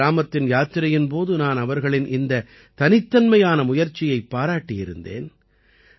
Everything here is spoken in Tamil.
மாணா கிராமத்தின் யாத்திரையின் போது நான் அவர்களின் இந்த தனித்தன்மையான முயற்சியைப் பாராட்டியிருந்தேன்